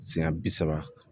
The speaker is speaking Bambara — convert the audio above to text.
Siɲɛ bi saba